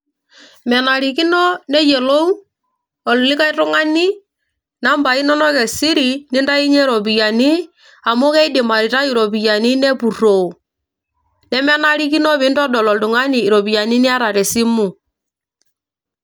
Menarikino neyiolou olikay tuing'ani nambai inonok e siri nintainyie iropiyiani amu keidim aitayu iropiani nepurroo nemenarikino nintodol oltung'ani iropiyiani niata tesimu.